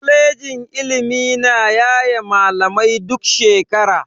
Kwalejin ilimi na yaye malamai duk shekara.